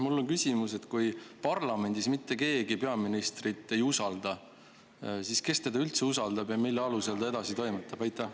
Mul on küsimus: kui parlamendis mitte keegi peaministrit ei usalda, siis kes teda üldse usaldab ja mille alusel ta edasi toimetab?